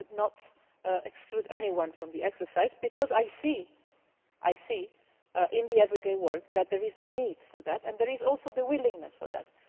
I would not exclude anyone from the exercise because I see in everyday work that there is a need for that and there is also the willingness for